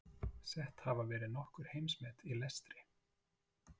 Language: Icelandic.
Sett hafa verið nokkur heimsmet í lestri.